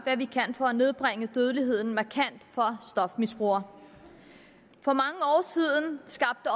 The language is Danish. hvad vi kan for at nedbringe dødeligheden markant for stofmisbrugere for mange år siden skabte